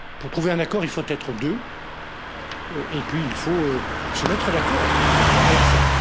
Pour trouver un accord, il faut être deux, et puis il faut se mettre d'accord à la fin.